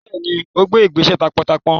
Bẹẹni, ó gbé ìgbésẹ̀ taápọntaápọn